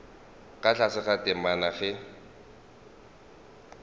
ka tlase ga temana ge